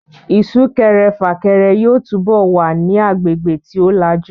Isúkẹrẹ fàkẹrẹ yóò túbọ̀ ma wà ní agbègbè tí ó lajú